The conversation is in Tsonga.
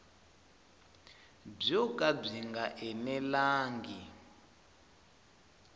byo ka byi nga enelangi